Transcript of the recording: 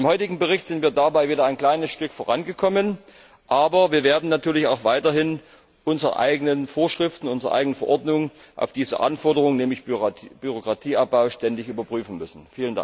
Mit dem heutigen Bericht sind wir dabei wieder ein kleines Stück vorangekommen, aber wir werden natürlich auch weiterhin unsere eigenen Vorschriften, unsere eigenen Verordnungen ständig auf diese Anforderung nämlich Bürokratieabbau überprüfen müssen.